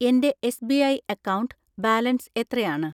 എൻ്റെ SBI account balance എത്രയാണ്?